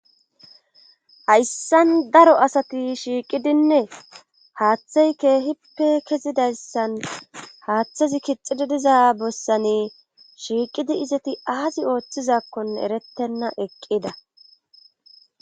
Hayssan daro asati shiiqidinne haaththey keehippe kezidayssan haaththazi kixidii diza bessanne shiiqidi izeti aazi ooththizakkonne erettenna eqqida